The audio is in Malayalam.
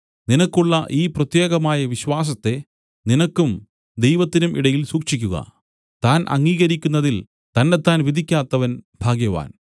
നിനക്കുള്ള ഈ പ്രത്യേകമായ വിശ്വാസത്തെ നിനക്കും ദൈവത്തിനും ഇടയിൽ സൂക്ഷിക്കുക താൻ അംഗീകരിക്കുന്നതിൽ തന്നെത്താൻ വിധിക്കാത്തവൻ ഭാഗ്യവാൻ